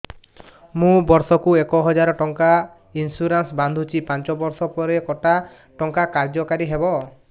ମୁ ବର୍ଷ କୁ ଏକ ହଜାରେ ଟଙ୍କା ଇନ୍ସୁରେନ୍ସ ବାନ୍ଧୁଛି ପାଞ୍ଚ ବର୍ଷ ପରେ କଟା ଟଙ୍କା କାର୍ଯ୍ୟ କାରି ହେବ